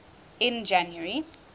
in january